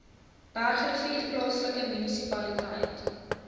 bergrivier plaaslike munisipaliteit